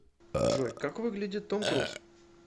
джой как выглядит том круз